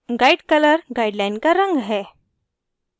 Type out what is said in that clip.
guide color guideline का रंग है